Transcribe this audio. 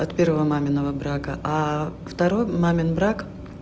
от первого маминого брака а второй мамин брак